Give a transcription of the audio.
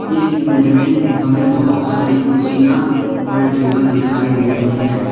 इस इमेज में हमें बोहोत सारी कुर्सियां और टेबल दिखाई दे रहे हैं।